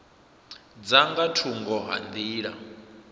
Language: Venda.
dza nga thungo ha nḓila